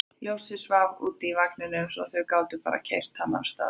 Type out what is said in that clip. Ljósið svaf úti í vagninum svo þau gátu bara keyrt hann af stað.